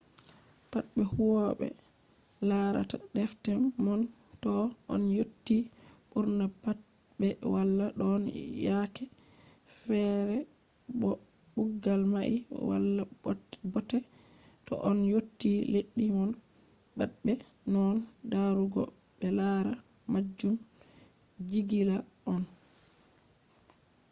patbe huwobe larata defte mon toh on yotti burna pat be wala don yake fere bo kugal mai wala bote to on yotti leddi mon patbe nonnon darugo be lara majum jigila on